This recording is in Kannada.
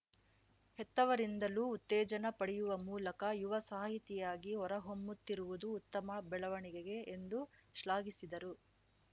ಹೆತ್ತವರಿಂದಲೂ ಉತ್ತೇಜನ ಪಡೆಯುವ ಮೂಲಕ ಯುವ ಸಾಹಿತಿಯಾಗಿ ಹೊರ ಹೊಮ್ಮುತ್ತಿರುವುದು ಉತ್ತಮ ಬೆಳವಣಿಗೆ ಎಂದು ಶ್ಲಾಘಿಸಿದರು